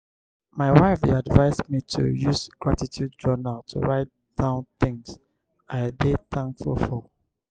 my wife dey advise me to use gratitude journal to write down things i dey thankful for.